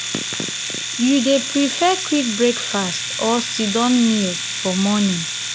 you dey prefer quick breakfast or sit-down meal for morning?